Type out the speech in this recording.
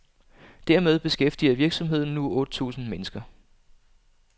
Dermed beskæftiger virksomheden nu otte tusind mennesker.